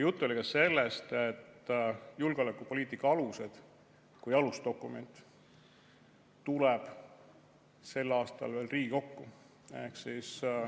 Juttu oli ka sellest, et julgeolekupoliitika alused kui alusdokument tuleb sel aastal veel Riigikokku.